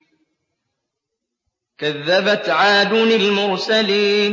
كَذَّبَتْ عَادٌ الْمُرْسَلِينَ